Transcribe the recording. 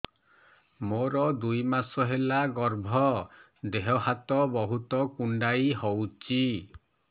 ମୋର ଦୁଇ ମାସ ହେଲା ଗର୍ଭ ଦେହ ହାତ ବହୁତ କୁଣ୍ଡାଇ ହଉଚି